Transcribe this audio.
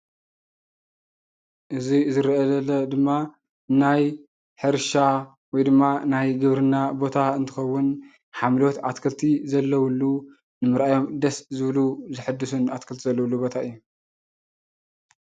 እዚ ዝረአይ ዘሎ ድማ ናይ ሕርሻ ወይድማ ናይ ግብርና ቦታ እንትኸውን ሓምለዎት ኣትክልቲ ዘለውሉ ንምርኣዮም ደስ ዝብሉ ዝሕደስሉን ኣተክልትን ዘለውሉ ቦታ እዩ፡፡